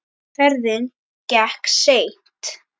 Ferðin gekk seint.